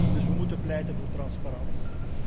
Dus wij moeten pleiten voor transparantie.